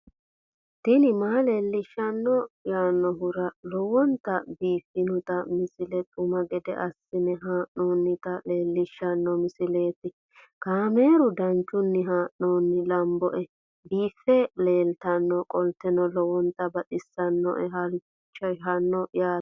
tini maa leelishshanno yaannohura lowonta biiffanota misile xuma gede assine haa'noonnita leellishshanno misileeti kaameru danchunni haa'noonni lamboe biiffe leeeltannoqolten lowonta baxissannoe halchishshanno yaate